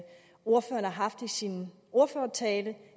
sin ordførertale